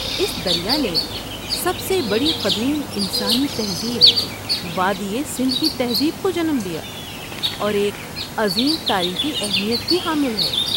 اس دریا نے سب سے بڑی قدیم انسانی تہذیب، وادی سندھ کی تہذیب، کو جنم دیا اور ایک عظیم تاریخی اہمیت کی حامل ہے۔